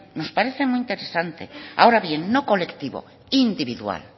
nos parece muy interesante ahora bien no colectivo individual